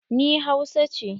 Ni ba hausa ce.